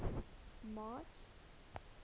march